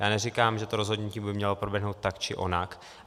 Já neříkám, že to rozhodnutí by mělo proběhnout tak, či onak.